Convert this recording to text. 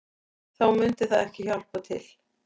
Þá myndi það ekki hjálpa til